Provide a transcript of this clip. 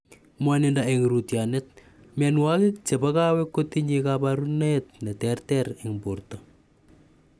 Mwanindo eng' rootyonet. Mianwokik chepo kawek kotinye kaparunet ne ter ter eng' porto .